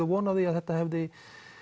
von á því að þetta hefði